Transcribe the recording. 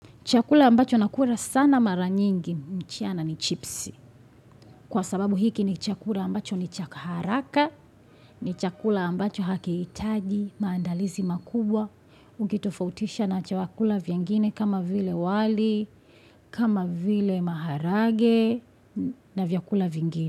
Chakula ambacho nakura sana maranyingi mchana ni chipsi. Kwa sababu hiki ni chakula ambacho ni cha haraka, ni chakula ambacho hakiitaji, maandalizi makubwa. Ukitofautisha na chakula vyingine kama vile wali, kama vile maharage na vyakula vingine.